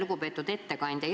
Lugupeetud ettekandja!